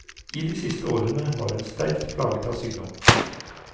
I de siste årene var hun sterkt plaget av sykdom.